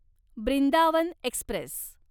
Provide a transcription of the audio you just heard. Brindavan Express